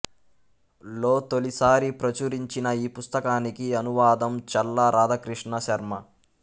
లో తొలిసారి ప్రచురించిన ఈ పుస్తకానికి అనువాదం చల్లా రాధాకృష్ణ శర్మ